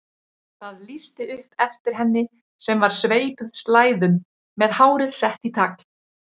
Það lýsti upp eftir henni sem var sveipuð slæðum með hárið sett í tagl.